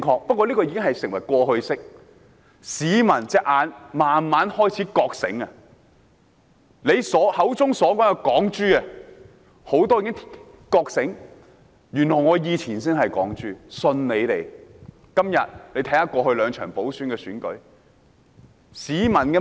不過，這已是過去式，市民慢慢開始覺醒了，他們口中的"港豬"已經覺醒，發現原來自己以前才是"港豬"，信錯了他們。